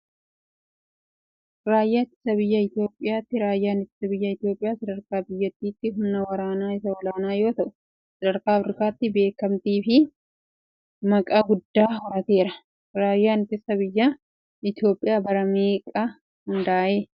Raayyaa ittisa biyyaa Itoophiyaa ti. Raayyaan ittisa biyyaa Itoophiyaa sadarkaa biyyattiitti humna waraanaa isa olaanaa yoo ta'u sadarkaa Afiriikaattis beekamtii fi maqaa guddaa horateera. Raayyaan ittisa biyyaa Itoophiyaa bara meeqaa hundaaye?